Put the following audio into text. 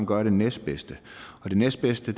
gøre det næstbedste og det næstbedste